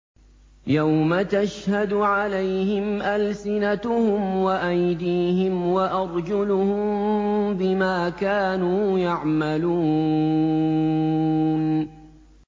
يَوْمَ تَشْهَدُ عَلَيْهِمْ أَلْسِنَتُهُمْ وَأَيْدِيهِمْ وَأَرْجُلُهُم بِمَا كَانُوا يَعْمَلُونَ